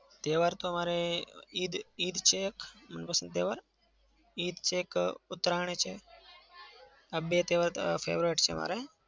તહેવાર તો મારે અમ ઈદ ઈદ છે મનપસંદ તહેવાર. ઈદ છે એક ઉતરાયણ છે આ બે તહેવાર તો favorite છે મારા.